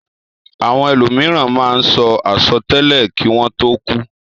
Àwon elòmìràn máá n so asòtélè kí wón tó kúú.